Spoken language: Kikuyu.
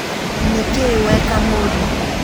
Nĩkĩĩ weka mũriũ